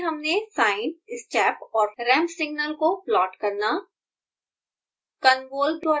इस ट्यूटोरियल में हमने sine step और ramp signal को प्लॉट करना